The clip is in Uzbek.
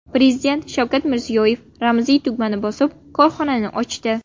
Prezident Shavkat Mirziyoyev ramziy tugmani bosib, korxonani ochdi.